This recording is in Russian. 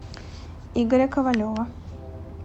игоря ковалева